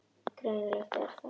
Greinilegt er að